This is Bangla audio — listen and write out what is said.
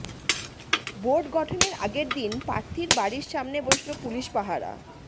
বোর্ড গঠনের আগের দিন প্রার্থীর বাড়ির সামনে বসল পুলিশ পাহারা